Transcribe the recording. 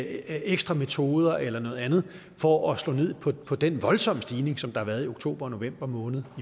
ekstra metoder eller noget andet for at slå ned på den voldsomme stigning som der har været i oktober og november måned